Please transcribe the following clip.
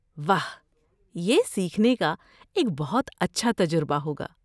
واہ! یہ سیکھنے کا ایک بہت اچھا تجربہ ہوگا۔